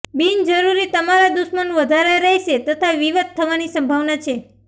બિનજરૂરી તમારા દુશ્મન વધારે રહેશે તથા વિવાદ થવાની સંભાવના છે